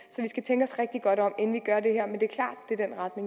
en godt om inden